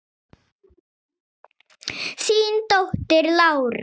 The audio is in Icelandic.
Þín dóttir, Lára.